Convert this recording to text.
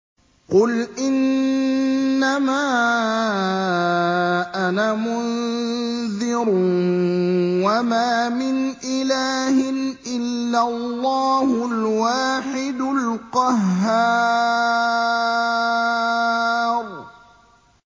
قُلْ إِنَّمَا أَنَا مُنذِرٌ ۖ وَمَا مِنْ إِلَٰهٍ إِلَّا اللَّهُ الْوَاحِدُ الْقَهَّارُ